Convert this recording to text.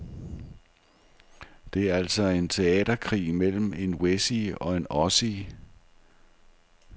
Det er altså en teaterkrig mellem en wessie og en ossie.